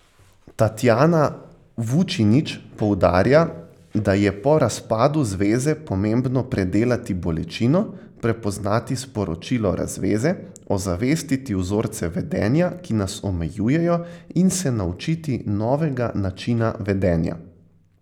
Tatjana Vučinić poudarja, da je po razpadu zveze pomembno predelati bolečino, prepoznati sporočilo razveze, ozavestiti vzorce vedenja, ki nas omejujejo, in se naučiti novega načina vedenja.